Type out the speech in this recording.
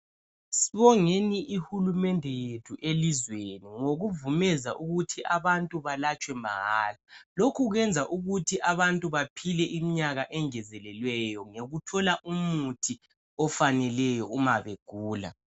Sibonge uhulumende wethu elizweni ngokuvuma ukuthi abantu balatshwe mahala lokhu kwenza ukuthi abantu bephile imnyaka engezelelweyo ngokuthola umuthi ofaneleyo nxa begula